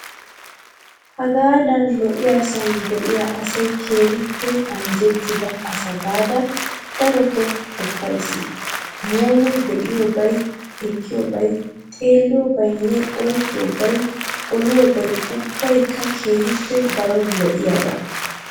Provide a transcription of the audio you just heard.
Hagaadan lo''iyaasan diyaa asayi keehippe anjjettida asa gaada darotoo qoppayisi. Muume be'iyoobayi, ekkiyoobayi xeelliyoobayinne oyiqqiyoobayi oliyoobayi ubbayikka keehippe daro lo'iyaaba.